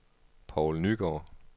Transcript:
Poul Nygaard